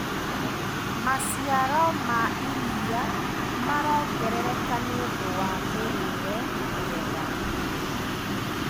Maciaro ma iria marongerereka nĩũndũ wa mĩrĩre mĩega.